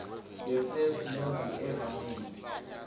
the first movie ever made